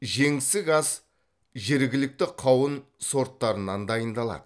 жеңсік ас жергілікті қауын сорттарынан дайындалады